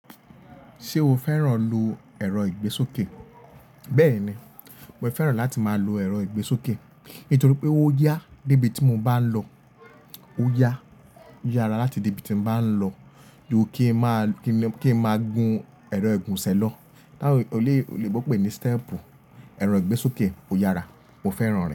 Ṣé o fẹ́ràn lọ ẹ̀rọ ìgbésókè? Bẹ́ẹ̀ ni, mo fẹ́ràn láti máa lo ẹ̀rọ ìgbésókè. Nítorí pé ó yá débi tí mo bá lọ, ó yá, ó yára láti dé ibi tí mo bá ń lọ. Ju kí máa, kí máa gun ẹ̀rọ ìgúnṣẹ̀ lọ. Tá won lè, olóyìnbo pé ní step. Ẹ̀rọ ìgbésókè ó yára, mo fẹ́ràn.